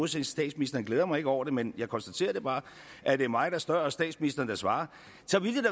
til statsministeren glæder jeg mig ikke over det men jeg konstaterer bare at det er mig der spørger og statsministeren der svarer